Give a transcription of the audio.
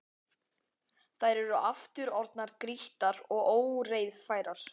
Þær eru aftur orðnar grýttar og ógreiðfærar.